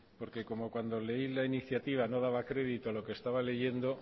porque como cuando leí la iniciativa no daba crédito a lo que estaba leyendo